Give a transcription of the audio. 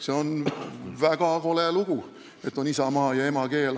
See on väga kole lugu, et meil on isamaa ja emakeel.